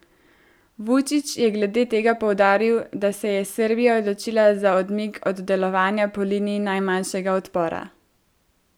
Vučić je glede tega poudaril, da se je Srbija odločila za odmik od delovanja po liniji najmanjšega odpora.